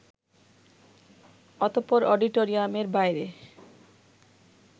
অতঃপর অডিটোরিয়ামের বাইরে